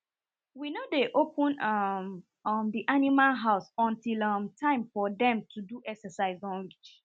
we no dey open um um the animal house until um time for dem to do exercise don reach